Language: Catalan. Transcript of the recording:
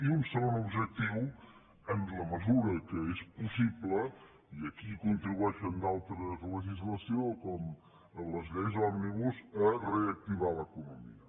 i un segon objectiu en la mesura que és possible i aquí hi contribueixen altres legislacions com les lleis òmnibus reactivar l’economia